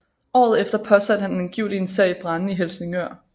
Året efter påsatte han angiveligt en serie brande i Helsingør